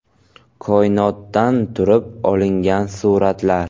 Koinotdan turib olingan suratlar .